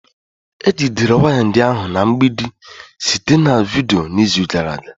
Ejidere waya ndị ahụ na mgbidi site na vidiyo n'izu gara aga